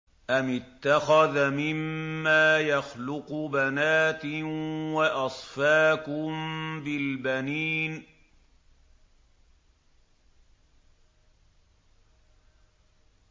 أَمِ اتَّخَذَ مِمَّا يَخْلُقُ بَنَاتٍ وَأَصْفَاكُم بِالْبَنِينَ